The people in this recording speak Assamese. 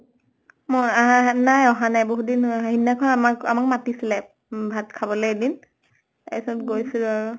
ম আহ নাই অহা নাই। বহুত দিন হʼ সিদিনাখন আমাক আমাক মাতিছিলে, উম ভাল খাবলে এদিন। তাৰ পিছত গৈছো আৰু।